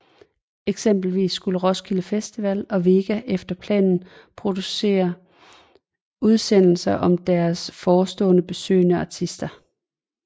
Eksempelvis skulle Roskilde Festival og VEGA efter planen producere udsendelser om deres forestående besøgende artister